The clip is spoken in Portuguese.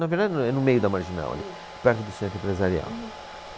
Na verdade não é no meio da Marginal ali. Hum. É perto do Centro Empresarial. Uhum.